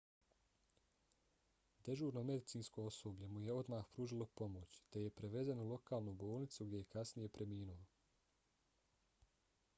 dežurno medicinsko osoblje mu je odmah pružilo pomoć te je prevezen u lokalnu bolnicu gdje je kasnije preminuo